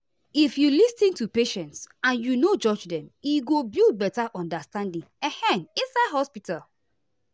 if you lis ten to patients and you no judge dem e go build better understanding ehm inside hospital.